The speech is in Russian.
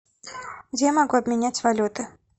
где я могу обменять валюты